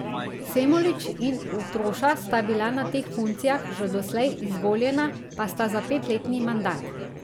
Semolič in Utroša sta bila na teh funkcijah že doslej, izvoljena pa sta za petletni mandat.